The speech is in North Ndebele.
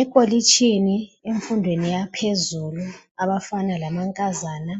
Ekolitshini emfundweni yaphezulu abafana lamankazana